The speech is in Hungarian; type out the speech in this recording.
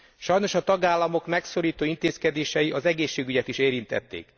Sajnos a tagállamok megszorító intézkedései az egészségügyet is érintették.